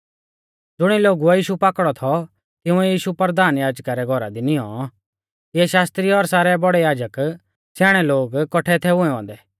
ज़ुणी लोगुऐ यीशु पाकड़ौ थौ तिंउऐ यीशु परधान याजका रै घौरा दी नियौं तिऐ शास्त्री और सारै बौड़ै याजक स्याणै लोग कौठै थै हुऐ औन्दै